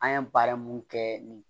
An ye baara mun kɛ nin